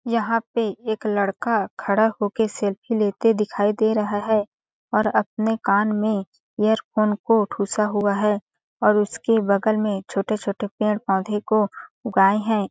यहाँ पे एक लड़का खड़ा होकर सेल्फी लेते दिखाई दे रहा हैऔर अपने कान में इयरफोन को ठुसा हुआ है और उसके बगल में छोटे-छोटे पेड़ पौधे को उगाए हैं।